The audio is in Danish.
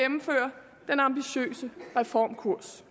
men ambitiøse reformkurs